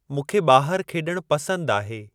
मूंखे ॿाहिर खेॾण पसंद आहे।